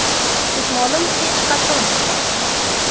Ketmonim hech qachon uchmasdi.